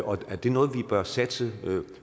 og er det noget vi bør satse